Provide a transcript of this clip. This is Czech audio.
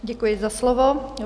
Děkuji za slovo.